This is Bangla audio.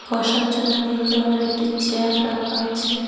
বসার জন্য নীল রঙের একটি চেয়ার রাখা আছে।